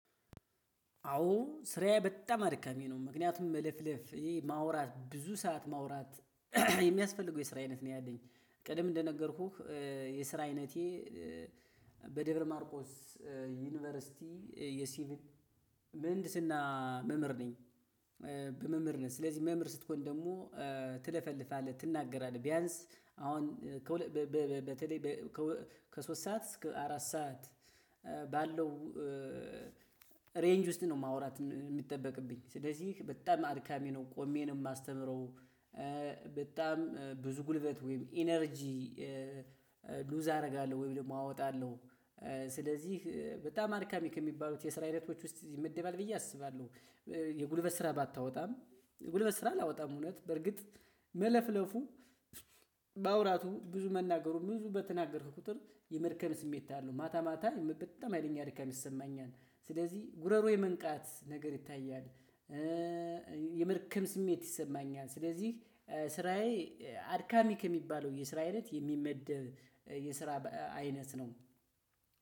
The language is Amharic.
አዎ ስራዬ በጣም አድካሚ ነው ምክንያቱም መለፍለፍ ይሄ ማውራት ብዙ ሰዓት ማውራት የሚያስፈልገው የስራ አይነት ነው። ያለኝ ቅደም እንደነገርኩህ የስራ አይነቴ በደብረ ማርቆስ ዩኒቨርሲቲ የሲቪል ምህንድስና መምህር ነኝ። በመምህርነት ስለዚህ መምህር ስትሆን ደግሞ ትለፈልፋለህ ትናገራለህ ቢያንስ አሁን በተለይ ከሶስት ሰዓት እስከ አራት ሰዓት ባለው ሬንጅ ውስጥ ነው። ማውራት የሚጠበቅብኝ ስለዚህ በጣም አድካሚ ነው። ቆሜ ነው የማስተምረው። በጣም ብዙ ጉልበት ወይም ኢነርጂ ሉዝ አደርጋለሁ ወይም ደግሞ አወጣለሁ። ስለዚህ በጣም አድካሚ ከሚባሉት የስራ አይነቶች ውስጥ ይመደባል ብዬ አስባለሁ። የጉልበት ስራ ባታወጣም ጉልበት ስራ አላወጣም እውነት በርግጥ መለፍለፉ ማውራቱ ብዙ መናገሩን ብዙ በተናገርክ ቁጥር የመድከም ስሜት አለው። ማታ ማታ በጣም ሀይለኛ ድካም ይሰማኛል ስለዚህ ጉረሮ የመንቃት ነገር ይታያል። የምድክም ስሜት ይሰማኛል ስለዚህ ስራዬ አድካሚ ከሚባለው የስራ አይነት የሚመደብ የስራ አይነት ነው።